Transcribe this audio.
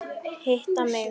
Hitta mig?